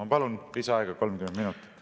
Ma palun lisaaega 30 minutit.